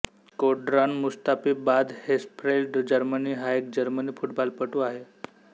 Shkodran Mustafi Bad Hersfeld Germany हा एक German फुटबॉलपटू आहे